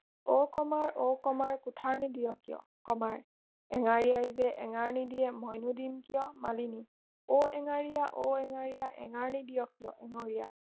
অ কমাৰ অ কমাৰ কুঠাৰ নিদিয় কিয় কমাৰ এঙাৰীয়াই যে এঙাৰ নিদিয়ে মইনো দিম কিয় মালিনী অ এঙাৰীয়া অ এঙাৰীয়া এঙাৰ নিদিয় কিয় এঙাৰীয়া